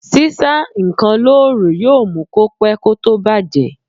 Sísá ǹkan lóòrùn yóò mú kó pẹ́ kó tó bàjẹ́